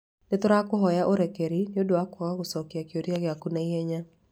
Nĩ tũrakũhoya ũrekeri nĩ ũndũ wa kwaga gũcokia kĩũria gĩaku na ihenya.